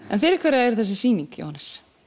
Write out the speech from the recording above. en fyrir hverja er þessi sýning Jóhannes